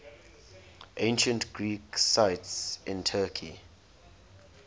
ancient greek sites in turkey